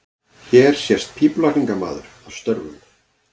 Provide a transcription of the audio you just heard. Hér sést pípulagningamaður að störfum.